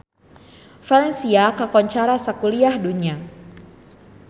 Valencia kakoncara sakuliah dunya